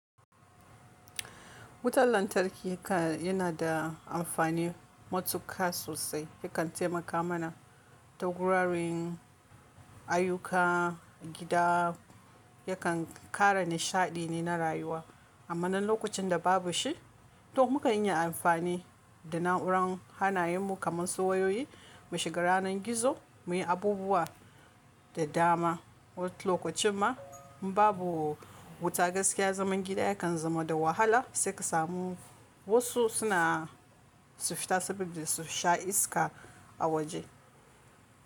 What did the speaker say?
Wutan lantarki ka yana da amfani matuƙa sosai. Yakan taimaka mana ta guraran ayuka gida. Yakan ƙara nishaɗi ne na rayuwa. Amma nan lokacin da babu shi, to muka iya amfani da na'urar hannayen mu kamar su wayoyi, mu shiga ranar gizo, muyi abubuwa da dama. Wani lokacin ma in babu wuta gaskiya zaman gida yakan zama da wahala sai ka samu wasu suna su fita saboda su sha iska a waje.